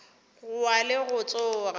go wa le go tsoga